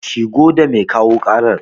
A shigo da mai kawo ƙarar